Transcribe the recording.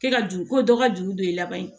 Kɛ ka juru ko dɔ ka juru don i laban ye